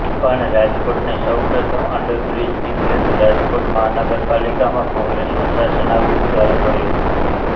પણ રાજકોટને સૌ પ્રથમ અન્ડરબ્રિજની ભેટ રાજકોટ મહાનગરપાલિકામાં કોંગ્રેસનું શાસન આવ્યું ત્યારે મળી હતી